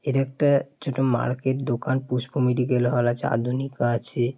এটা একটা ছোট মার্কেট দোকান। পুষ্প মেডিকেল হল আছে আধুনিকা আছে-এ ।